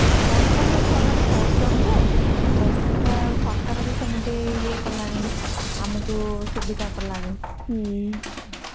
ପଢୁଛନ୍ତି ଛୁଆ ମାନେ ପଢୁଛନ୍ତି ଯେ ହେଲେ ସରକାର ବି ସେମିତି ୟେ କଲାଣି ଆମକୁ ସୁବିଧା କଲାଣି